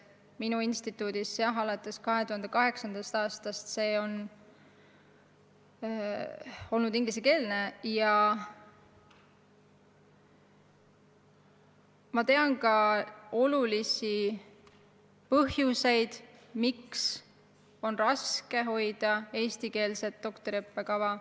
Minu instituudis on alates 2008. aastast see õpe olnud ingliskeelne ja ma tean ka olulisi põhjuseid, miks on raske hoida eestikeelset doktoriõppekava.